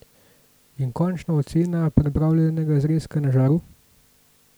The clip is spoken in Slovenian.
In končna ocena pripravljenega zrezka na žaru?